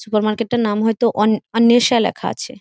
Super market এর তার নাম হয়তো অন অর্নেষা লেখা আছে।